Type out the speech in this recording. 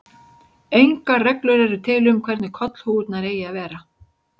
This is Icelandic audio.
Engar reglur eru til um hvernig kollhúfurnar eigi að vera.